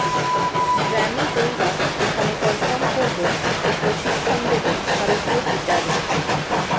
Grammy জয়ীরা এখানে perform করবেন ও প্রশিক্ষণ দেবেন ভারতীয় গিটারিষ্টদের